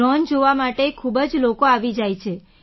drone જોવા માટે ખૂબ જ લોકો આવી જાય છે